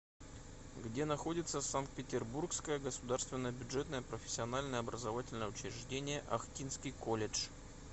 где находится санкт петербургское государственное бюджетное профессиональное образовательное учреждение охтинский колледж